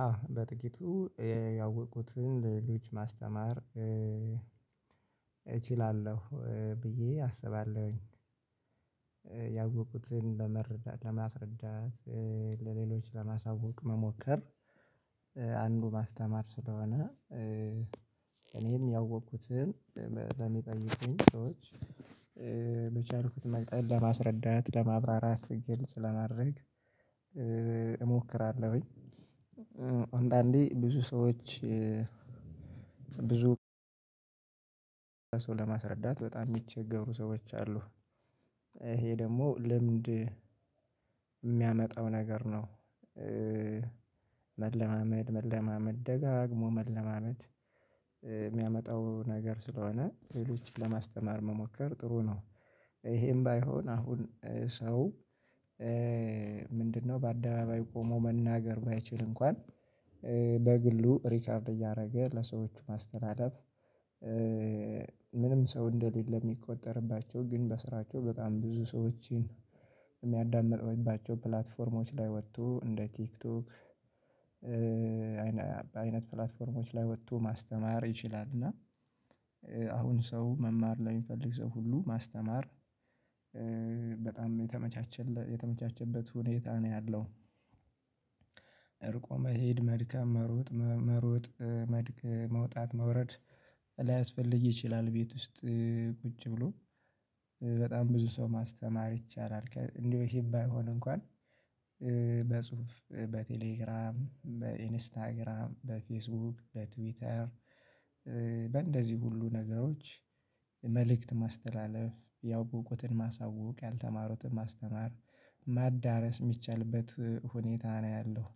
አዎ በጥቂቱ ያወኩትን ልጅ ማስተማር እችላለሁ ብዬ አስባለሁኝ። ያወኩትን ለመረዳት ለማስረዳት ለሌሎች ለማሳወቅ መሞከር አንዱ ማስተማር ስለሆነ እኔም ያወቅኩትን በሚጠይቁኝ ሰዎች በቻልኩት መጠን ለማስረዳት ለማብራራት ግልጽ ለማድረግ እሞክራለሁኝ። አንዳንዴ ብዙ ሰዎች ብዙ ሰው ለማስረዳት በጣም የሚቸገሩ ሰዎች አሉ ይሄ ደግሞ ልምድ የሚያመጣው ነገር ነው። መለማመድ መለማመድ ደጋግሞ መለማመድ የሚያመጣው ነገር ስለሆነ ሌሎች ለማስተማር መሞከር ጥሩ ነው። ይሄም ባይሆን አሁን ሰው ምንድነው በአደባባይ ቆሞ መናገር ባይችል እንኳን በግሉ ሪከርድ እያደረገ ለሰዎች ማስተባበር ምንም ሰው እንደሌለ የሚቆጠርባቸው ግን በስራቸው በጣም ብዙ ሰዎችን የሚያዳምጠውባቸው ፕላትፎርሞች ላይ ወጥቶ እንደ ቲክቶክ አይነት ፕላትፎርሞች ላይ ወጥቶ ማስተማር ይችላል። እና አሁን ሰው መማር ላይ የሚፈልግ ሰው ሁሉ ማስተማር በጣም የተመቻቸ የተመቻቸበት ሁኔታ ነው ያለው። እርቁ መሄድ መድከም መሮጥ መሮጥ መድከም መውጣት መውረድ ላያስፈልግ ይችላል። ቤት ውስጥ ቁጭ ብሎ በጣም ብዙ ሰው ማስተማር ይቻላል። እንዲህ ባይሆን እንኳን በጽሁፍ በቴሌግራም በኢንስታግራም በፌስቡክ በትዊተር በእንደዚህ ሁሉ ነገሮች መልእክት ማስተላለፍ ያው ቁጥጥርን ማሳወቅ ያልተማሩትን ማስተማር ማዳረስ የሚቻልበት ሁኔታ ነው ያለው።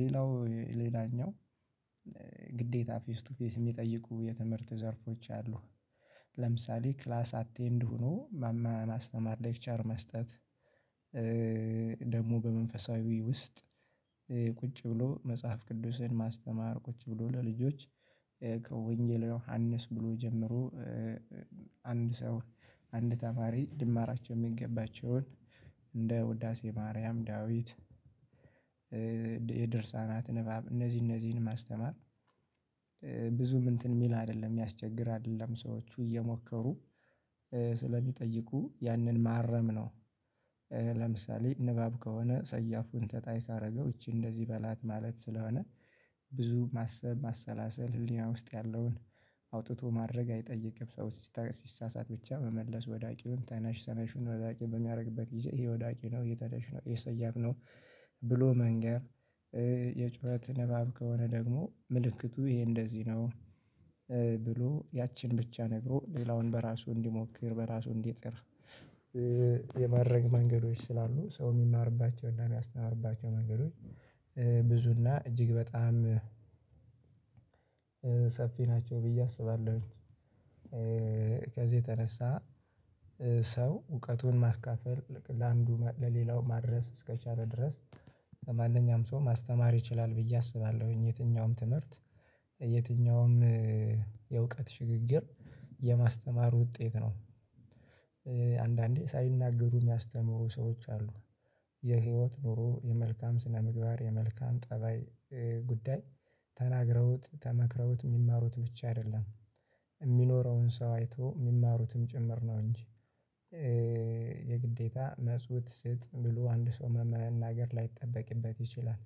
ሌላው ሌላኛው ግዴታ ፌስ ቱ ፌስ የሚጠይቁ የትምህርት ዘርፎች አሉ። ለምሳሌ ክላስ አቴንድ ሆኖ ማማ ማስተማር ሌክቸር መስጠት። ደግሞ በመንፈሳዊ ውስጥ ቁጭ ብሎ መጽሐፍ ቅዱስን ማስተማር ቁጭ ብሎ ለልጆች ከወንጌለ ዮሐንስ ብሎ ጀምሮ አንድ ሰው አንድ ተማሪ ሊማራቸውን የሚገባቸውን እንደ ውዳሴ ማርያም ዳዊት የደርሳናት ንባብ እነዚህ እነዚህን ማስተማር ብዙም እንትን የሚል አይደለም የሚያስቸግር አይደለም ሰዎቹ እየሞከሩ ስለሚጠይቁ ያንን ማረም ነው። ለምሳሌ ንባብ ከሆነ ሰያፉን ተጣይ ካደረገው ይቺ እንደዚህ በላት ማለት ስለሆነ ብዙ ማሰብ ማሰላሰል ህሊና ውስጥ ያለውን አውጥቶ ማውረድ አይጠይቅም ሰው ሲሳሳት ብቻ መመለስ ወዳቂውን ተናሽ ተነሽ ወዳቂ በሚያደርግበት ጊዜ ይሄ ወዳቂ ነው ይሄ ተነሽ ነው ይሄ ሰያፍ ነው። ብሎ መንገር የጩኸት ንባብ ከሆነ ደግሞ ምልክቱ ይሄ እንደዚህ ነው። ብሎ ያችን ብቻ ነግሮ ሌላውን በራሱ እንዲሞክር በራሱ እንዲጥር የማድረግ መንገዶች ስላሉ ሰው የሚማርባቸውና የሚያስተምርባቸው መንገዶች ብዙና እጅግ በጣም ሰፊ ናቸው ብዬ አስባለሁኝ። ከዚህ የተነሳ ሰው እውቀቱን ማካፈል ለአንዱ ለሌላው ማድረስ እስከቻለ ድረስ ማንኛውም ሰው ማስተማር ይችላል ብዬ አስባለሁኝ። የትኛውም ትምህርት የትኛውም የእውቀት ሽግግር የማስተማር ውጤት ነው። አንዳንዴ ሳይናገሩ የሚያስተምሩ ሰዎች አሉ የህይወት ኑሮ የመልካም ስነምግባር የመልካም ጠባይ ጉዳይ ተናግረውት ተመክረውት የሚማሩት ብቻ አይደለም የሚኖረውን ሰው አይቶ የሚማሩትም ጭምር ነው እንጂ። የግዴታ መልሱ ስጥ ብሎ አንድ ሰው መናገር ላይጠበቅበት ይችላል።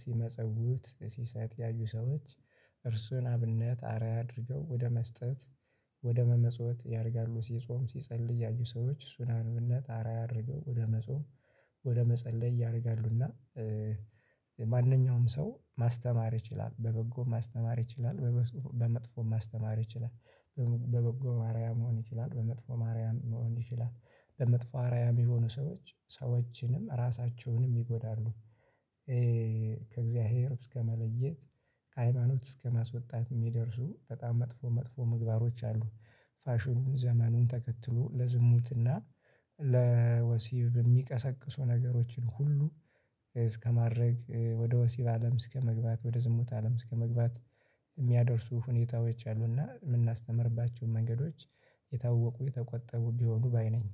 ሲመጸውት ሲሰጥ ያዩ ሰዎች እርሱን አብነት አርአያ አድርገው ወደ መስጠት ወደ መመጽወት ያደርጋሉ ሲጾም ሲጸልይ ያዩ ሰዎች እርሱን አብነት አርአያ ያደረገው ወደ መጾም ወደ መጸለይ ያደርጋሉ እና። ማንኛውም ሰው ማስተማር ይችላል በበጎ ማስተማር ይችላል። በመጥፎ ማስተማር ይችላል። በበጎ አርአያ መሆን ይችላል በመጥፎ አርአያ መሆን ይችላል። ለመጥፎ አርአያ የሆኑ ሰዎች ሰዎችንም ራሳቸውንም ይጎዳሉ ከእግዚአብሔር እስከ መለየት ከሃይማኖት እስከ ማስወጣት የሚደርሱ በጣም መጥፎ መጥፎ ምግባሮች አሉ። ፋሽኑን ዘመኑን ተከትሎ ለዝሙትና ለወሲብ በሚቀሰቅሱ ነገሮችን ሁሉ እስከማድረግ ወደ ወሲብ አለም እስከመግባት ወደ ዝሙት አለም እስከመግባት የሚያደርሱ ሁኔታዎች አሉና የምናስተምርባቸውን መንገዶች የታወቁ የተቆጠቡ ቢሆኑ ባይ ነኝ